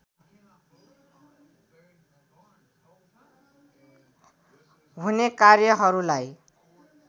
हुने कार्यहरूलाई